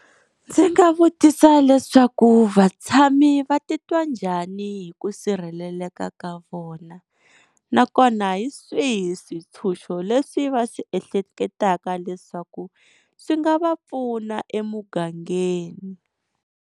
Ndzi nga vutisa leswaku vatshami va titwa njhani hi ku sirheleleka ka vona, nakona hi swihi switshuxo leswi va swi ehleketaka leswaku swi nga va pfuna emugangeni.